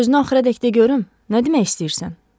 Sözünü axıradək de görüm, nə demək istəyirsən?